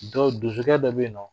Dɔ donsokɛ dɔ bɛ yen nɔ